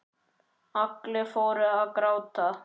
Allir fóru að gráta.